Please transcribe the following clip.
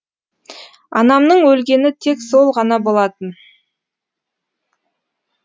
анамның өлгені тек сол ғана болатын